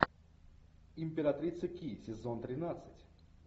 императрица ки сезон тринадцать